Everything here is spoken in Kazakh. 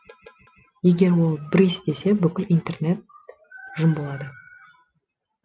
егер ол брысь десе бүкіл интернат жым болады